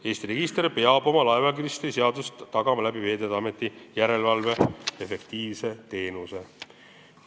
Eesti registri vastavus laevaregistrite seaduse nõuetele peab olema tagatud Veeteede Ameti efektiivse järelevalveteenusega.